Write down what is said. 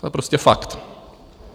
To je prostě fakt.